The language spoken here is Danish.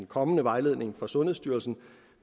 kommende vejledning fra sundhedsstyrelsen